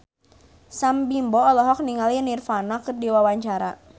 Sam Bimbo olohok ningali Nirvana keur diwawancara